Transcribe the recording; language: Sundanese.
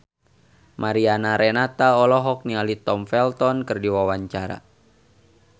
Mariana Renata olohok ningali Tom Felton keur diwawancara